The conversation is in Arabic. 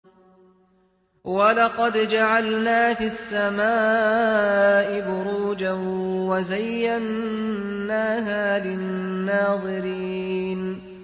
وَلَقَدْ جَعَلْنَا فِي السَّمَاءِ بُرُوجًا وَزَيَّنَّاهَا لِلنَّاظِرِينَ